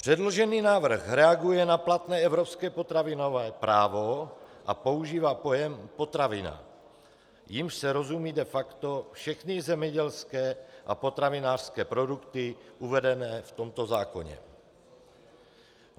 Předložený návrh reaguje na platné evropské potravinové právo a používá pojem potravina, jímž se rozumějí de facto všechny zemědělské a potravinářské produkty uvedené v tomto zákoně.